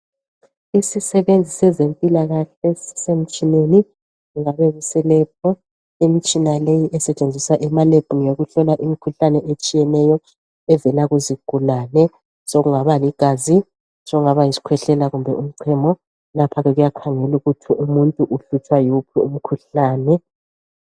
Isisebenzi sezempilakahle sisemtshineni okungabe kuselebhu imitshina leyi esetshenziswa emalebhu ngeyokuhlola imikhuhlane etshiyeneyo evela kuzigulane sokungaba ligazi sokungaba yisikhwehlela kumbe umchemo lapha kuyakhangelwa ukuthi umuntu uhlutshwa yiwuphi umkhuhlane